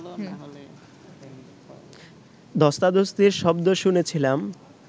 ধ্বস্তাধ্বস্তির শব্দ শুনেছিলাম